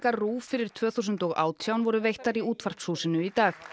RÚV fyrir tvö þúsund og átján voru veittar í Útvarpshúsinu í dag